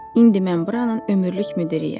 İndi mən buranın ömürlük müdiriyəm.